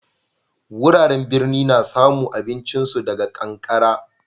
Wuraren birni na samu abincin su daga kankara.